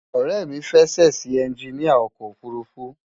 Ore mi fe sesi enginia oko ofurufu